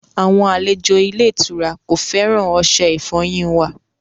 Àwọn aléjò ilẹ̀-ìtura kò fẹ́ran ọṣẹ̀-ìfọ́yin wà.